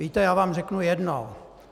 Víte, já vám řeknu jedno.